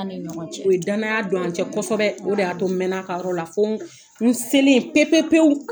Ani ɲɔgɔn cɛ. O ye danaya don an cɛ kosɔbɛ, o de y'a to mɛnn'a kayɔrɔ la, fo n selen pe pe pewu.